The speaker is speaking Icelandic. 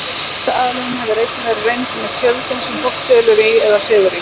Þessi aðlögun hefur einnig verið reynd með tjöldum sem fólk dvelur í eða sefur í.